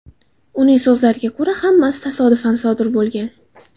Uning so‘zlariga ko‘ra, hammasi tasodifan sodir bo‘lgan.